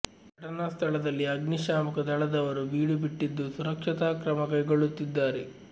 ಘಟನಾ ಸ್ಥಳದಲ್ಲಿ ಅಗ್ನಿಶಾಮಕ ದಳದವರು ಬೀಡು ಬಿಟ್ಟಿದ್ದು ಸುರಕ್ಷತಾ ಕ್ರಮ ಕೈಗೊಳ್ಳುತ್ತಿದ್ದಾರೆ